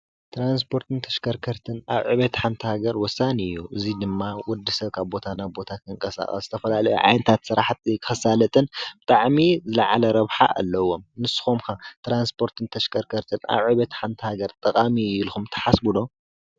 ትራንስፖርትን ተሽከርከርትን ኣብ ዕብየት ሓንቲ ሃገር ወሳኒ እዩ፡፡ እዙይ ድማ ወዲ ሰብ ካብ ናብ ቦታ ንኽንቀሳቐስ ዝተፈላለየ ዓይነታት ስራሕቲ ከሳለጥን ብጣዕሚ ዝለዓለ ረብሓ ኣለዎም፡፡ ንስኹም ከ ትራንስፖርትን ተሽከርከርትን ኣብ ዕብየት ሓንቲ ሃገር ጠቓሚ እዩ ኢልኩም ተሓስቡ ዶ?